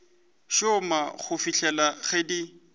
šoma go fihlela ge di